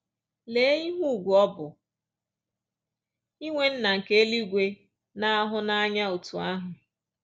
Lee ihe ùgwù ọ bụ inwe Nna nke eluigwe na-ahụ n’anya otú ahụ!”